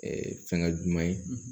fɛngɛ duman ye